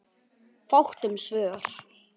Fátt um svör.